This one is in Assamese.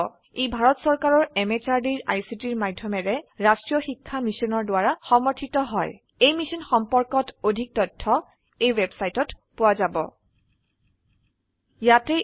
ই ভাৰত চৰকাৰৰ MHRDৰ ICTৰ মাধয়মেৰে ৰাস্ত্ৰীয় শিক্ষা মিছনৰ দ্ৱাৰা সমৰ্থিত হয় ই মিশ্যন সম্পৰ্কত অধিক তথ্য spoken hyphen tutorial dot org slash এনএমইআইচিত হাইফেন ইন্ট্ৰ ৱেবচাইটত পোৱা যাব